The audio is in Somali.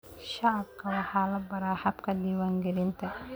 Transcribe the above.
Shacabka waxa la baraa habka diiwaangelinta.